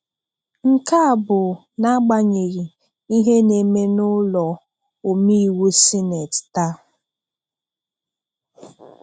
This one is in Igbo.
Nke a bụ n'agbanyeghi ihe na-eme n'ụlọomeiwu sineti taa.